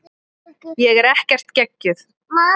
Ég er ekkert geggjuð.